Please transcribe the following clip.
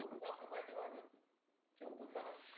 आपल्या पाठी मागं ठेवतो चाला.